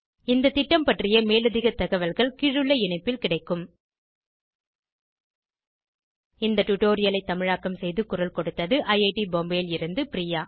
இந்த திட்டம் பற்றிய மேலதிக தகவல்கள் கீழுள்ள இணைப்பில் கிடைக்கும் httpspoken tutorialorgNMEICT Intro இந்த டுடோரியலை தமிழாக்கம் செய்து குரல் கொடுத்தது ஐஐடி பாம்பேவில் இருந்து பிரியா